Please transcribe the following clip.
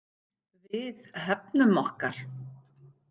Við hefnum okkar.